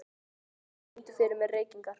Lilly, syngdu fyrir mig „Reykingar“.